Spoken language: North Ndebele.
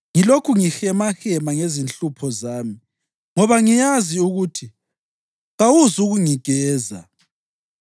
ngilokhu ngihemahema ngezinhlupho zami, ngoba ngiyazi ukuthi kawuzukungigeza.